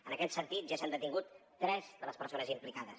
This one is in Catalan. en aquest sentit ja s’han detingut tres de les persones implicades